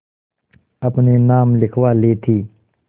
अपने नाम लिखवा ली थी